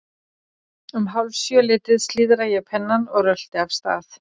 Um hálf sjö leytið slíðra ég pennann og rölti af stað.